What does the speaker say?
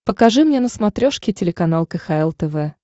покажи мне на смотрешке телеканал кхл тв